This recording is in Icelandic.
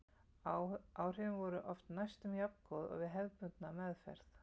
Áhrifin voru oft næstum jafngóð og við hefðbundna meðferð.